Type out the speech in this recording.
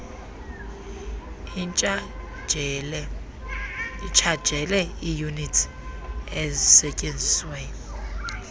itshajele iiyunitsi ezisetyenzisiweyo